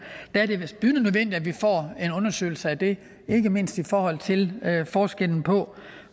er vist bydende nødvendigt får en undersøgelse af det ikke mindst i forhold til forskellen på